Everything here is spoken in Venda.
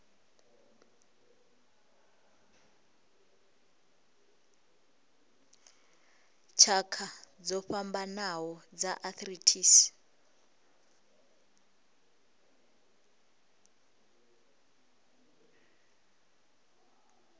tshakha dzo fhambanaho dza arthritis